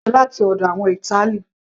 pizza jẹ oúnjẹ láti ọ̀dọ̀ àwọn ìtali